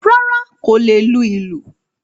Rárá, kò lè lù lùṣú.